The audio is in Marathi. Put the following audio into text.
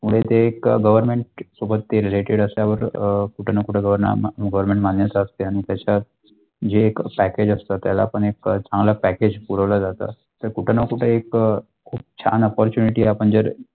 मुळे ते एक Government सोबत ते Related कशावर अ कुठे ना कुठे वर नाम Government मान्य असेल आणि त्याच्या आणि त्याच्या जे package असतात त्याला पण एक छान package पुरवले जातात तर कुठे ना कुठे एक खूप छान opportunity आपण जर.